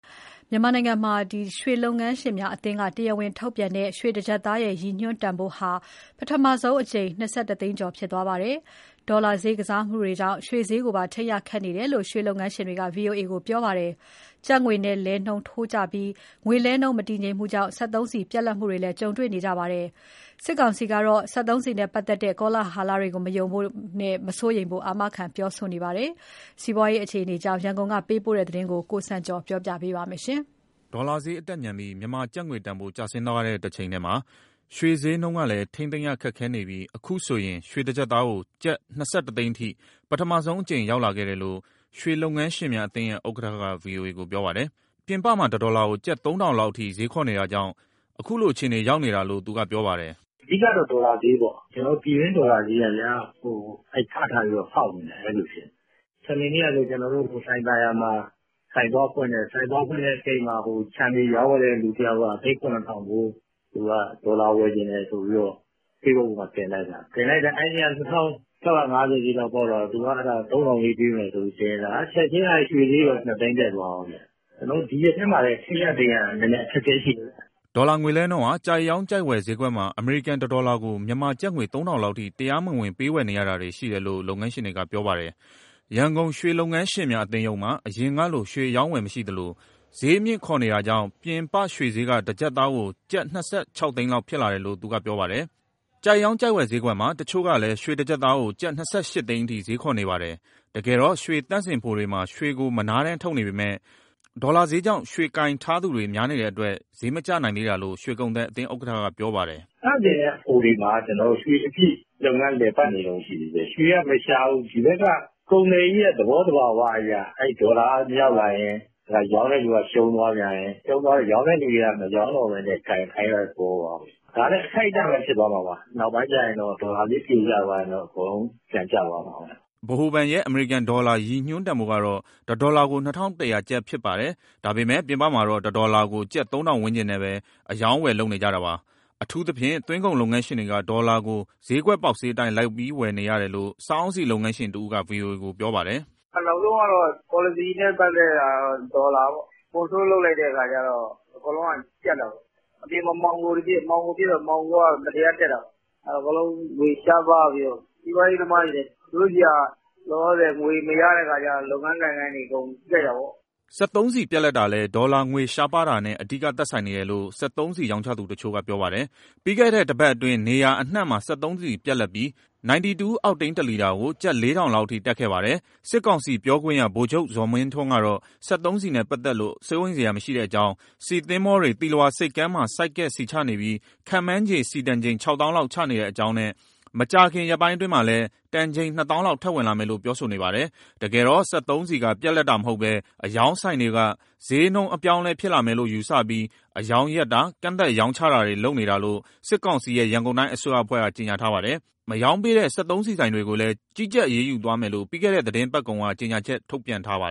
မြန်မာနိုင်ငံမှာ ရွှေလုပ်ငန်းရှင်များအသင်းက တရားဝင်ထုတ်ပြန်တဲ့ ရွှေ တကျပ် သားရဲ့ ရည်ညွှန်းတန်ဖိုးဟာ ၂၁ သိန်းကျော်ကို ပထမဆုံးအကြိမ် ရောက်သွားပါတယ်။ ဒေါ်လာဈေးနဲ့ ဈေးကစားမှုတွေကြောင့် ရွှေဈေးက ထိန်းရသိမ်းရခက်နေတယ်လို့ ရွှေလုပ်ငန်းရှင်တွေက ဗွီအိုအေကိုပြောပါတယ်။ ကျပ်ငွေလဲနှုန်းထိုးကျပြီး ငွေလဲနှုန်း မတည်ငြိမ်မှုကြောင့် ရွှေဈေးနဲ့အတူ စက်သုံးဆီပြတ်လပ်တာတွေပါ ဆက်ပြီး ရင်ဆိုင်နေရပါတယ်။ မြန်မာစစ်ကောင်စီကတော့ စက်သုံးဆီနဲ့ ပတ်သက် တဲ့ ကောလဟလတွေကို မယုံဖို့နဲ့ မစိုးရိမ်ဖို့ အာမခံ ပြောဆိုနေပါတယ်။ စီးပွားရေးအခြေအနေ ရန်ကုန်ကပေးပို့တဲ့ ဒီသတင်းကို ကိုစံကျော်ထွန်းက တင်ပြပေးထားပါတယ်။ ဒေါ်လာဈေးအတက်မြန်ပြီး မြန်မာကျပ်ငွေတန်ဖိုး ကျဆင်းသွားတဲ့ တချိန်တည်းမှာ ရွှေဈေးနှုန်းကလည်း ထိန်းသိမ်းရခက်ခဲနေပြီး အခုဆိုရင် ရွှေတကျပ်သားကို ကျပ်၂၁ သိန်းအထိ ပထမဆုံးအကြိမ် ရောက်လာခဲ့တယ်လို့ ရွှေလုပ်ငန်းရှင်များအသင်းရဲ့ ဥက္ကဋ္ဌက ဗွီအိုအေကို ပြောပါတယ်။ ပြင်ပမှာ တဒေါ်လာကို ကျပ် ၃,၀၀၀ လောက်အထိ ဈေးခေါ်နေတာကြောင့် အခုလိုအခြေအနေ ရောက်နေတာလို့ သူကပြောပါတယ်။ "အဓိကတော့ ဒေါ်လာဈေးပေါ့၊ ကျနော်တို့ ပြည်တွင်းဒေါ်လာဈေးက ဗျာ၊ ထထပြီးတော့ ဖောက်နေတာ အဲလိုဖြစ်နေ။ စနေနေ့ကဆို ကျနော်တို့ လှိုင်သာယာမှာ ဆိုင်သွားဖွင့်တယ်။ ဆိုင်သွားဖွင့်တဲ့အချိန် ခြံတွေရောင်းဝယ်တဲ့သူတယောက်က (ကျပ်) သိန်း ၇,၀၀၀ ဖိုး ဒေါ်လာဝယ်ချင်တယ်ဆိုပြီး ဖေ့စ်ဘွတ်ပေါ်တင်လိုက်တာ အဲဒီနေ့က (ဒေါ်လာက) ၂,၆၅၀ ဈေးလောက်ပေါက်တာကို သူက ၃,၀၀၀ ဈေးပေးမယ်ဆိုပြီးတင်လိုက်တာ ချက်ချင်း ရွှေဈေးပါ ၂ သိန်းတက်သွားရော။ ကျနော်တို့ ဒီရက်ထဲမှာလည်း ထိန်းရသိမ်းရ နည်းနည်းအခက်အခဲရှိတယ်ဗျ။" ဒေါ်လာငွေလဲနှုန်းဟာ ကြိုက်ရောင်း၊ ကြိုက်ဝယ်ဈေးကွက်မှာ အမေရိကန်တဒေါ်လာကို မြန်မာကျပ်ငွေ ၃,၀၀၀ လောက်အထိ တရားမဝင် ပေးဝယ်နေတာတွေ ရှိနေတယ်လို့ လုပ်ငန်းရှင်တွေက ပြောပါတယ်။ ရန်ကုန် ရွှေလုပ်ငန်းရှင်များ အသင်းရုံးမှာ အရင်ကလို ရွှေအရောင်းအဝယ်မရှိသလို ဈေးမြှင့်ခေါ်နေတာကြောင့် ပြင်ပရွှေဈေး တကျပ်သားကို ကျပ် ၂၆ သိန်း လောက် ဖြစ်လာတယ်လို့ သူကပြောပါတယ်။ ကြိုက်ရောင်းကြိုက်ဝယ်ဈေးကွက်မှာ တချို့ကလည်း ရွှေတကျပ်သားကို ကျပ်၂၈ သိန်းအထိ ဈေးခေါ်နေပါတယ်။ တကယ်တော့ ရွှေသန့်စင်ဖိုတွေမှာ ရွှေကိုမနားတမ်း ထုတ်နေပေမယ့် ဒေါ်လာဈေးကြောင့် ရွှေကိုင်ထားသူတွေ များနေတဲ့အတွက် ဈေးမကျနိုင်သေးတာလို့ ရွှေကုန်သည်အသင်းဥက္ကဋ္ဌက ပြောပါတယ်။ " သန့်စင်တဲ့ဖိုတွေမှာ ကျနော်တို့ ရွှေအပြည့် လုပ်ငန်းလည်ပတ်နေတုန်း ရှိသေးတယ်၊ ရွှေကမရှားဘူး။ ဒီဘက်က ကုန်သည်တွေရဲ့ သဘောသဘာဝအရ အဲဒီဒေါ်လာကရောက်လာရင်း ရောင်းတဲ့သူက ရှုံးသွားပြန်ရင်း၊ ရောင်းတဲ့သူတွေက မရောင်းတော့ဘဲနဲ့ ကိုင်ထားတဲ့သဘောပါ။ ဒါလည်း အခိုက်အတန့်ပဲ ဖြစ်သွားမှာပါ၊ နောက်ပိုင်း ဒေါ်လာဈေးပြိုကျသွားရင်တော့ အကုန်လုံး ပြန်ကျသွားမှာပဲ။" ဗဟိုဘဏ်ရဲ့ အမေရိကန်ဒေါ်လာ ရည်ညွှန်းတန်ဖိုးကတော့ တဒေါ်လာကို ၂,၁၀၀ ကျပ် ဖြစ်ပါတယ်။ ဒါပေမယ့် ပြင်ပမှာတော့ တဒေါ်လာကို ကျပ် ၃,၀၀၀ ဝန်းကျင်နဲ့ပဲ အရောင်းအဝယ် လုပ်နေကြတာပါ။ အထူးသဖြင့်း သွင်းကုန်လုပ်ငန်းရှင်တွေက ဒေါ်လာကို ဈေးကွက်ပေါက်ဈေးအတိုင်း လိုက်ပြီးဝယ်နေရတယ်လို့ စားအုန်းဆီလုပ်ငန်းရှင်တဦးက ဗွီအိုအေကို ပြောပါတယ်။ " နောက်ဆုံးကတော့ ပေါ်လစီနဲ့ပတ်သက်တာ ဒေါ်လာပေါ့၊ control လုပ်လိုက်တဲ့အခါကျတော့ အကုန်လုံးက ကျပ်တာပေါ့။ အပြင်မှာ မှောင်ခိုတွေဖြစ်၊ မှောင်ခိုက မတရားတက်တာပေါ့။ အကုန်လုံး ငွေရှားပါးပြီးတော့ စီးပွားရေးသမားတွေလည်း သူတို့ဆီက လောလောဆယ် ငွေမရတဲ့အခါကျတော့ လုပ်ငန်းကိုင်ငန်းတွေအကုန် ထိခိုက်တာပေါ့။" စက်သုံးဆီပြတ်လပ်တာလည်း ဒေါ်လာငွေရှားပါးတာနဲ့ အဓိကသက်ဆိုင်နေတယ် လို့ စက်သုံးဆီရောင်းချသူတချို့က ပြောပါတယ်။ ပြီးခဲ့တဲ့တပတ်အတွင်း နေရာအနှံ့မှာ စက်သုံးဆီပြတ်လပ်ပြီး 92 အောက်တိန်းတလီတာကို ကျပ် ၄,၀၀၀ လောက်အထိ တက်ခဲ့ပါတယ်။ စစ်ကောင်စီပြောခွင့်ရ ဗိုလ်ချုပ်ဇော်မင်းထွန်းကတော့ စက်သုံးဆီနဲ့ ပတ်သက်လို့ စိုးရိမ်စရာမရှိတဲ့အကြောင်း ဆီသဘောၤတွေ သီလဝါဆိပ်ကမ်းမှာ ဆိုက်ကပ် ဆီချနေပြီး ခန့်မှန်းခြေ ဆီတန်ချိန် ခြောက်သောင်းလောက် ချနေတဲ့အကြောင်းနဲ့ မကြာခင်ရက်ပိုင်းအတွင်းမှာလည်း တန်ချိန် နှစ်သောင်းလောက်ထပ်ဝင်လာမယ်လို့ ပြောဆိုနေပါတယ်။ တကယ်တော့ စက်သုံးဆီက ပြတ်လပ်တာမဟုတ်ဘဲ အရောင်းဆိုင်တွေက ဈေးနှုန်းအပြောင်းအလဲ ဖြစ်လာမယ်လို့ယူဆပြီး အရောင်းရပ်တာ၊ ကန့်သတ် ရောင်းချတာတွေ လုပ်နေတာလို့ စစ်ကောင်စီရဲ့ ရန်ကုန်တိုင်း အစိုးရအဖွဲ့က ကြေညာထားပါတယ်။ မရောင်းပေးတဲ့ စက်သုံးဆီဆိုင်တွေကိုလည်း ကြီးကြပ်အရေးယူသွားမယ်လို့ ပြီးခဲ့တဲ့ သတင်းပတ်ကုန်က ကြေညာချက်ထုတ်ပြန်ထားပါ